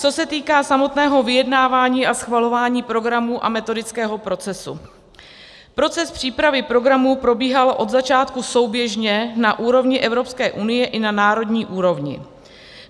Co se týká samotného vyjednávání a schvalování programů a metodického procesu, proces přípravy programů probíhal od začátku souběžně na úrovni Evropské unie i na národní úrovni.